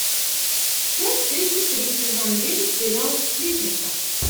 часть тридцать три сезон девять сериал сплетница